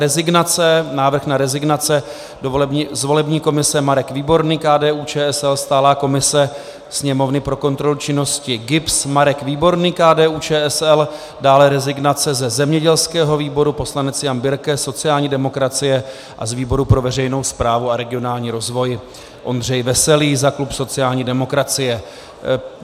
Rezignace, návrh na rezignace: z volební komise Marek Výborný, KDU-ČSL, stálá komise Sněmovny pro kontrolu činnosti GIBS Marek Výborný, KDU-ČSL, dále rezignace ze zemědělského výboru poslanec Jan Birke, sociální demokracie, a z výboru pro veřejnou správu a regionální rozvoj Ondřej Veselý za klub sociální demokracie.